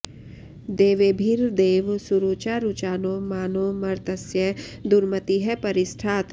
दे॒वेभि॑र्देव सु॒रुचा॑ रुचा॒नो मा नो॒ मर्त॑स्य दुर्म॒तिः परि॑ ष्ठात्